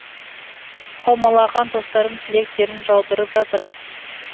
қаумалаған достарым тілектерін жаудырып жатыр